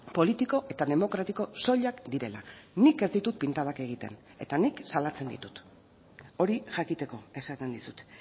politiko eta demokratiko soilak direla nik ez ditut pintadak egiten eta nik salatzen ditut hori jakiteko esaten dizut